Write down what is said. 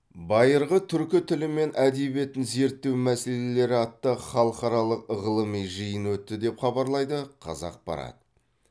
байырғы түркі тілі мен әдебиетін зерттеу мәселелері атты халықаралық ғылыми жиын өтті деп хабарлайды қазақпарат